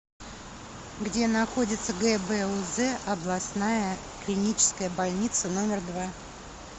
где находится гбуз областная клиническая больница номер два